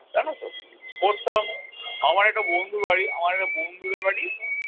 জানো তো পড়তাম আমার একটা বন্ধুর বাড়ি, আমার একটা বন্ধুদের বাড়ি